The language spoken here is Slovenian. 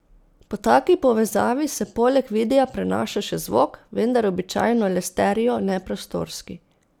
Po taki povezavi se poleg videa prenaša še zvok, vendar običajno le stereo, ne prostorski.